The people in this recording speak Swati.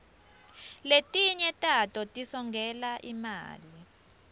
letinye tato tisongela imali